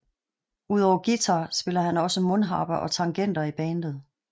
Udover guitar spiller han også mundharpe og tangenter i bandet